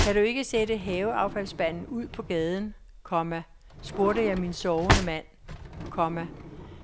Kan du ikke sætte haveaffaldsspanden ud på gaden, komma spurgte jeg min sovende mand, komma